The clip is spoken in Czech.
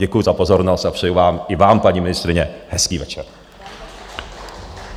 Děkuji za pozornost a přeji vám - i vám, paní ministryně - hezký večer.